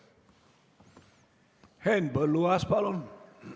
Henn Põlluaas, palun!